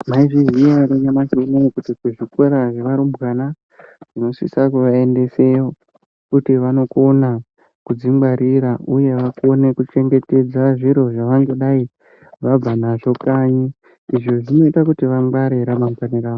Maizviziya ere nyamashi unowu kuti ku zvikora zve varumbwana tino sisa kuva endese kuti vanokona kudzi ngwarira uye vakone kuchengetedza zviro zvavangadai vabva nazvo kanyi izvi zvinoita kuti vangware ra mangwani ravo.